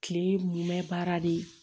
Kile mun bɛ baara de ye